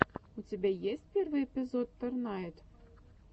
у тебя есть первый эпизод торнайд